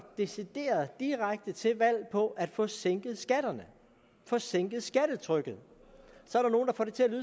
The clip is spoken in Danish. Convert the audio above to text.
decideret og direkte til valg på at få sænket skatterne at få sænket skattetrykket